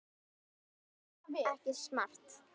Það er ekki smart.